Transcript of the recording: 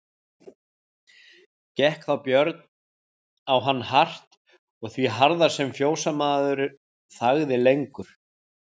Gekk þá Björn á hann hart og því harðar sem fjósamaður þagði lengur.